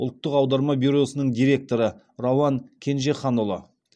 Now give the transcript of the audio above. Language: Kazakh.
ұлттық аударма бюросының директоры рауан кенжеханұлы